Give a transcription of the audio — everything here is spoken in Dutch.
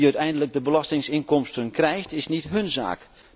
Wie uiteindelijk de belastinginkomsten krijgt is niet hun zaak.